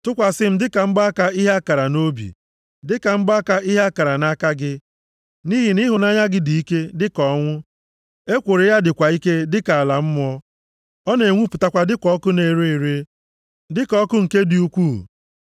Tụkwasị m dịka mgbaaka ihe a kara nʼobi, dịka mgbaaka ihe a kara nʼaka gị nʼihi na ịhụnanya dị ike dịka ọnwụ, ekworo + 8:6 \+xt Ilu 6:34-35\+xt* ya dịkwa ike dịka ala mmụọ. Ọ na-enwupụtakwa dịka ọkụ na-ere ere, dịka ọkụ nke dị ukwu.